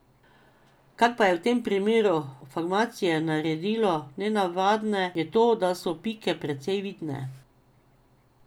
Kar pa je v tem primeru formacije naredilo nenavadne, je to, da so pike precej vidne.